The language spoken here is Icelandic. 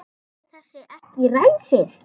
Fór þessi ekki ræsið?